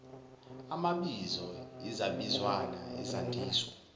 amabizo izabizwana izandiso